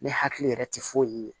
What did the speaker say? Ne hakili yɛrɛ tɛ foyi ye